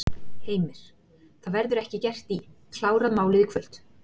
Heimir: Það verður ekki gert í, klárað málið í kvöld?